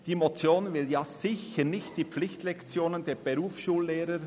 Die Motion will sicher nicht die Pflichtlektionen der Berufsschullehrer